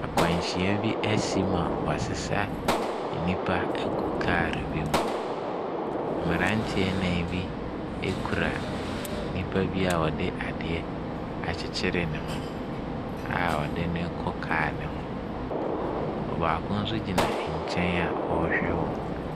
Nkwanhyia bi ɛsi ma woasesa enipa ɛgu car bi mu. Mmranteɛ nan bi ekura nipa bi a ɔde adeɛ akyekyere ne ho a ɔde ne rekɔ car ne ho. Ɔbaako nso gyina ɛnkyɛn a ɔrehwɛ wɔn.